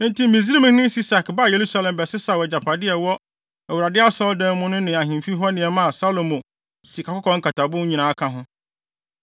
Enti Misraimhene Sisak baa Yerusalem bɛsesaw agyapade a ɛwɔ Awurade Asɔredan no mu ne ahemfi hɔ nneɛma a Salomo sikakɔkɔɔ nkatabo no nyinaa ka ho.